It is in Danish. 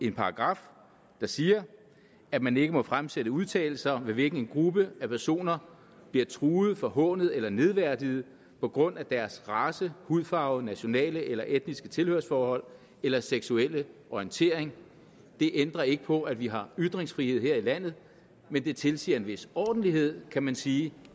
en paragraf der siger at man ikke må fremsætte udtalelser ved hvilke en gruppe af personer bliver truet forhånet eller nedværdiget på grund af deres race hudfarve nationale eller etniske tilhørsforhold eller seksuelle orientering det ændrer ikke på at vi har ytringsfrihed her i landet men det tilsiger en vis ordentlighed kan man sige